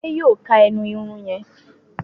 Ade yóò ká ẹnu Irun yén.